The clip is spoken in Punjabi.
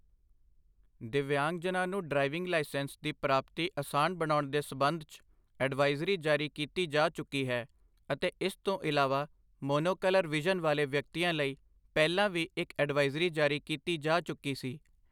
ਦਿੱਵਯਾਂਗਜਨਾਂ ਨੂੰ ਡਰਾਈਵਿੰਗ ਲਾਇਸੈਂਸ ਦੀ ਪ੍ਰਾਪਤੀ ਅਸਾਨ ਬਣਾਉਣ ਦੇ ਸਬੰਧ ਚ ਅਡਵਾਈਜ਼ਰੀ ਜਾਰੀ ਕੀਤੀ ਜਾ ਚੁੱਕੀ ਹੈ ਅਤੇ ਇਸ ਤੋਂ ਇਲਾਵਾ ਮੋਨੋਕਲਰ ਵਿਜ਼ਨ ਵਾਲੇ ਵਿਅਕਤੀਆਂ ਲਈ ਪਹਿਲਾਂ ਵੀ ਇੱਕ ਅਡਵਾਈਜ਼ਰੀ ਜਾਰੀ ਕੀਤੀ ਜਾ ਚੁੱਕੀ ਸੀ ।